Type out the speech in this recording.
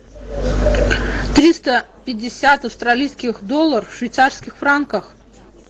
триста пятьдесят австралийских долларов в швейцарских франках